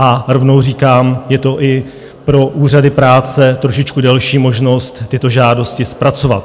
A rovnou říkám, je to i pro úřady práce trošičku delší možnost tyto žádosti zpracovat.